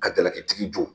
Ka jalaki tigi